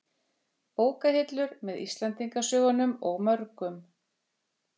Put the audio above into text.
Bókahillur, með Íslendingasögunum og mörgum